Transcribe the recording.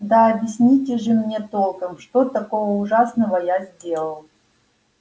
да объясните же мне толком что такого ужасного я сделал